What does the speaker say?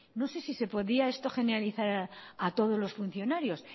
no sé si se podía esto generalizar a todos los funcionarios